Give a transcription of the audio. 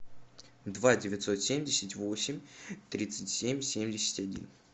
два девятьсот семьдесят восемь тридцать семь семьдесят один